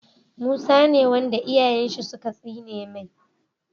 Musa ne wanda iyayen shi suka tsine mai